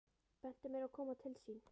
Bentu mér á að koma til sín.